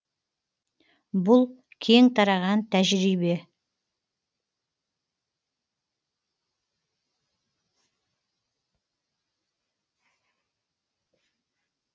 бұл кең тараған тәжірибе